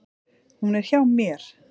Hún er hjá mér.